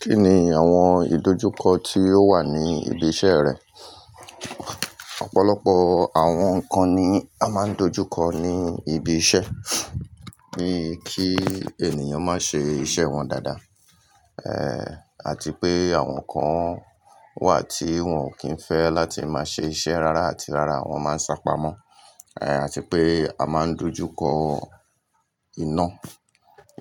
Kí ni àwọn ìdojúkọ tí ó wà ní ibi iṣẹ́ rẹ? Ọ̀pọ̀lọpọ̀ àwọn nǹkan ni a máa ń dojú kọ ní ibi iṣẹ́, ní kí ènìyàn má ṣe iṣẹ́ wọn dáadáa, eh àti pé àwọn kan wà tí wọ́n ò kí ń fẹ́ láti máa ṣe iṣẹ́ rárá àti rárá wọn máa ń sá pamọ́, eh àti pé a máà ń dojú kọ iná.